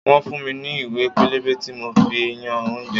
Wọ́n fún mi ní ìwé pélébé tí máa fi yan oúnjẹ.